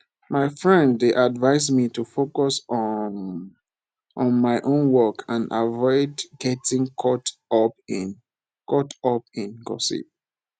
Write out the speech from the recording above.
my friend dey advise me to focus um on my own work and avoid getting caught up in caught up in gossip